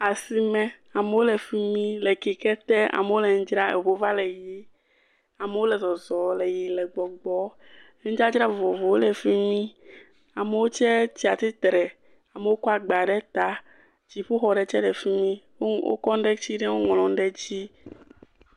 Asime amewo le fi mi le keke te amewo le nu dzra, eŋuwo va le yiyi, amewo le zɔzɔ le yiyim le gbɔgbɔm, nudzadzra vovovowo le fi mi, amewo gtse tsi atsitre, amewo kɔ agba ɖe ta, dziƒo xɔ ɖe tse li fi mi wokɔ nu ɖe tsi ɖe eŋu ŋlɔ nu ɖe dzi.